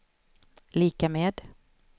lika med